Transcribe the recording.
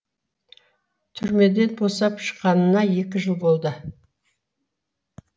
түрмеден босап шыққанына екі жыл болды